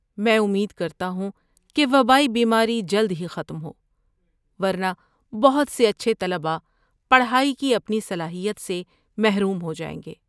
میں امید کرتا ہوں کہ وبائی بیماری جلد ہی ختم ہو، ورنہ بہت سے اچھے طلباء پڑھائی کی اپنی صلاحیت سے محروم ہو جائیں گے۔